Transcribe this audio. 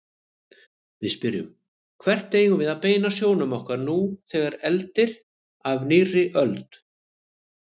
Við spyrjum: Hvert eigum við að beina sjónum okkar nú þegar eldir af nýrri öld?